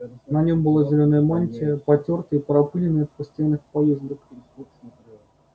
на нем была зелёная мантия потёртая и пропылённая от постоянных поездок